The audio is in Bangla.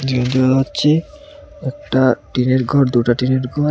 একটা টিনের ঘর দুটা টিনের ঘর।